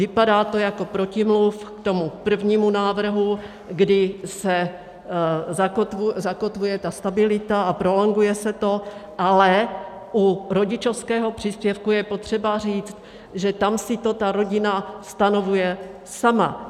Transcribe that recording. Vypadá to jako protimluv k tomu prvnímu návrhu, kdy se zakotvuje ta stabilita a prolonguje se to, ale u rodičovského příspěvku je potřeba říct, že tam si to ta rodina stanovuje sama.